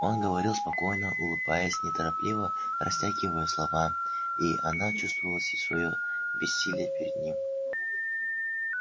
он говорил спокойно улыбаясь неторопливо растягивая слова и она чувствовалось своё бессилие перед ним